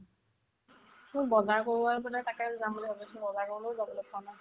মোৰ বজাৰ কৰিবৰ মানে তাকে যাম বুলি ভাবিছো বজাৰলৈ যাও অলপ কাম আছে